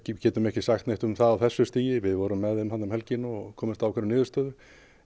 getum ekki sagt neitt um það á þessu stigi við vorum með þeim þarna um helgina og komumst að ákveðinni niðurstöðu